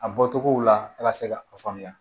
A bɔcogow la a ka se ka o faamuya